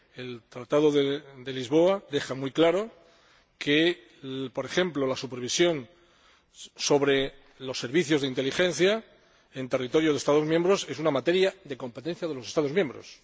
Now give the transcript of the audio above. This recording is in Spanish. El Tratado de Lisboa deja muy claro que, por ejemplo, la supervisión de los servicios de inteligencia en territorio de los Estados miembros es una materia de competencia de los Estados miembros.